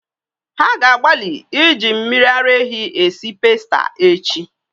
Ha ga-agbalị iji mmiri ara ehi esi pasta echi